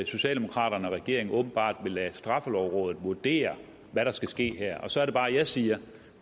socialdemokraterne og regeringen åbenbart vil lade straffelovrådet vurdere hvad der skal ske her så er det bare jeg siger